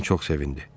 Pen çox sevindi.